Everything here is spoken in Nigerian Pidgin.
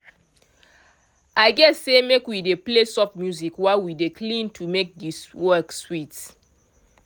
i say make we dey play soft music while we dey clean to make the work sweet.